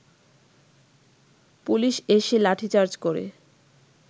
police এসে লাঠিচার্জ করে